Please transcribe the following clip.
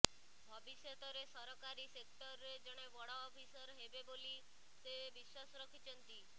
ଭବିଷ୍ୟତରେ ସରକାରୀ ସେକ୍ଟର୍ରେ ଜଣେ ବଡ଼ ଅଫିସର ହେବେ ବୋଲି ସେ ବିଶ୍ୱାସ ରଖିଛନ୍ତି